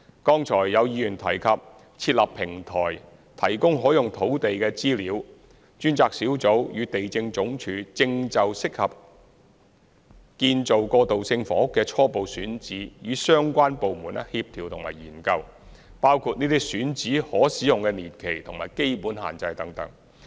剛才有議員提及設立平台，提供可用土地的資料，專責小組與地政總署正就適合建造過渡性房屋的初步選址與相關部門協調和研究，包括這些選址的可使用年期和基本限制等。